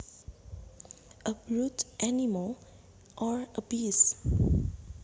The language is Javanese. A brute is an animal or a beast